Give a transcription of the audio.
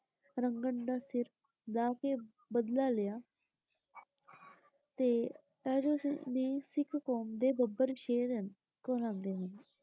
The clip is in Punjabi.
ਰੰਘੜ ਦਾ ਸਿਰ ਲਾਹ ਕੇ ਬਦਲਾ ਲਿਆ ਤੇ . ਨੇ ਸਿੱਖ ਕੌਮ ਦੇ ਬੱਬਰ ਸ਼ੇਰ ਹਨ ਕਹਾਉਂਦੇ ਨੇ।